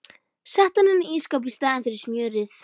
Setti hann inn í ísskáp í staðinn fyrir smjörið.